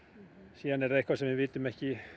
síðan er eitthvað sem við vitum ekki